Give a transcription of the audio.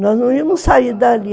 Nós não íamos sair dali.